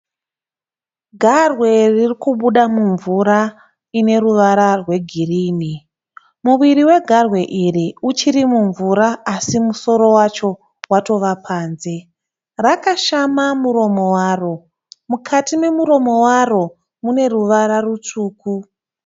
Garwe ririkubuda mumvura ine ruvara rwegirinhi. Muviri wegarwe iri uchiri mvura asi musoro wacho watova panze. Rakashama muromo waro, mukati nemuromo waro mune ruvara rutsvuku.